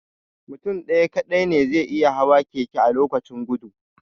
Mutum ɗaya kaɗai ne zai iya hawa keke a lokaci guda